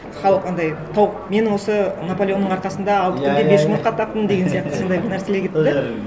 халық анандай тауық мен осы наполеонның арқасында алты күнде бес жұмыртқа таптым деген сияқты сондай бір нәрселер кетті де сол жері